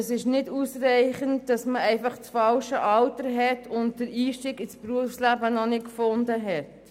Es reicht nicht aus, dass man einfach das falsche Alter und den Einstieg ins Berufsleben noch nicht gefunden hat.